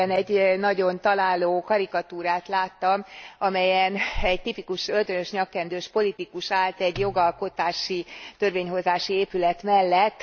Nemrégiben egy nagyon találó karikatúrát láttam, amelyen egy tipikus öltönyös, nyakkendős politikus állt egy jogalkotási, törvényhozási épület mellett.